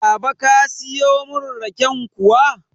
Baba ka siyo mun raken kuwa?